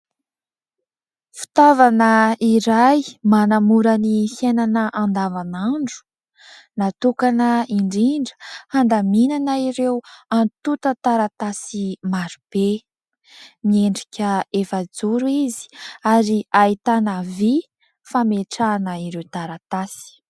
Fitaovana iray manamora ny fiainana andavanandro natokana indrindra handaminana ireo antontan-taratasy marobe. Miendrika efa-joro izy ary ahitana vy fametrahana ireo taratasy.